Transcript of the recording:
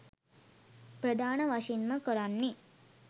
ප්‍රධාන වශයෙන්ම කරන්නෙ